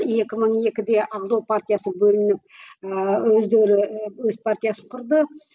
екі мың екіде ақжол партиясы бөлініп ііі өздері өз партиясын құрды